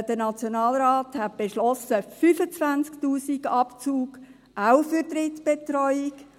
Der Nationalrat hat einen Abzug von 25’000 Franken beschlossen, auch für die Drittbetreuung.